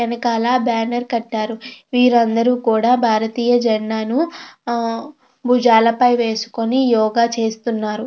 వెనకాల బ్యానర్ కట్టారు వీరు అందరూ కూడా భారతీయ జండాను బుజాల పై వేసుకొని యోగ చేస్తున్నారు.